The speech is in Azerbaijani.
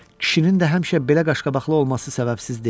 Kişinin də həmişə belə qaşqabaqlı olması səbəbsiz deyil.